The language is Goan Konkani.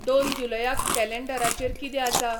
दोन जुलयाक कॅलेॆडराचेर किदें आसा